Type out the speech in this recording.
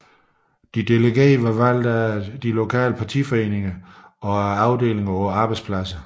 De delegerede var valgt af de lokale partiafdelinger samt af afdelingerne på arbejdspladserne